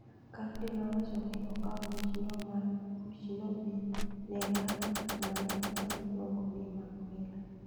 Cardi nowacho ni okawo michno be ne rapper ma ne otho miluongo ni Mac Miller.